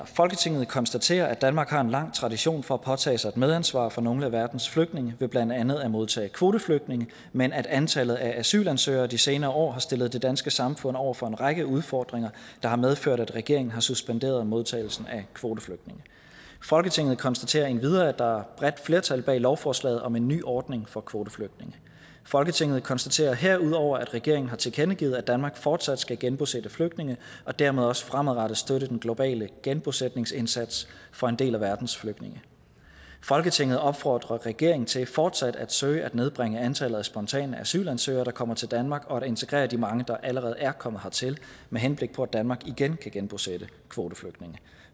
folketinget konstaterer at danmark har en lang tradition for at påtage sig et medansvar for nogle af verdens flygtninge ved blandt andet at modtage kvoteflygtninge men at antallet af asylansøgere de senere år har stillet det danske samfund over for en række udfordringer der har medført at regeringen har suspenderet modtagelsen af kvoteflygtninge folketinget konstaterer endvidere at der er bredt flertal bag lovforslaget om en ny ordning for kvoteflygtninge folketinget konstaterer herudover at regeringen har tilkendegivet at danmark fortsat skal genbosætte flygtninge og dermed også fremadrettet støtte den globale genbosætningsindsats for en del af verdens flygtninge folketinget opfordrer regeringen til fortsat at søge at nedbringe antallet af spontane asylansøgere der kommer til danmark og integrere de mange der allerede er kommet hertil med henblik på at danmark igen kan genbosætte kvoteflygtninge